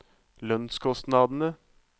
lønnskostnadene